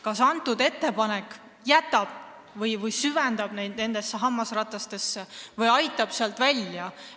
Kas see muudatus süvendab nende probleemi või aitab nad hammasrataste vahelt välja?